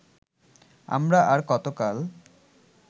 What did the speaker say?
আমরা আর কতকাল